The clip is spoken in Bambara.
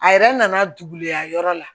A yɛrɛ nana duguyayɔrɔ la